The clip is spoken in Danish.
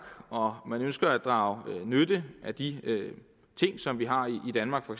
og man ønsker at drage nytte af de ting som vi har i danmark for